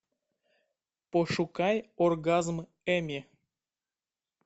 пошукай оргазм эми